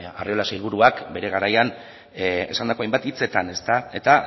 arriola sailburuak bere garaian esandako hainbat hitzetan eta